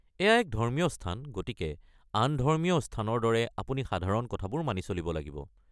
এয়া এক ধৰ্মীয় স্থান, গতিকে আন ধৰ্মীয় স্থানৰ দৰে আপুনি সাধাৰণ কথাবোৰ মানি চলিব লাগিব।